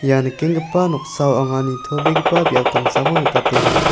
ia nikenggipa noksao anga nitobegipa biap damsako nikatenga.